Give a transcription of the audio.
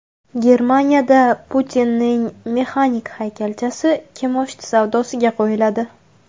Germaniyada Putinning mexanik haykalchasi kimoshdi savdosiga qo‘yiladi .